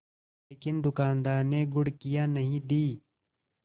लेकिन दुकानदार ने घुड़कियाँ नहीं दीं